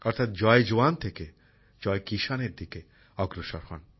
অর্থাৎ জয় জওয়ান থেকে জয় কিষানের দিকে অগ্রসর হন